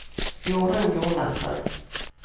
Jorun Jonassen